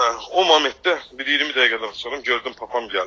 O momentdə, bir 20 dəqiqədən sonra, gördüm papam gəlir.